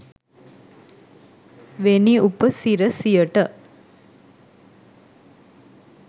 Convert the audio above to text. වෙනි උප සිරසියට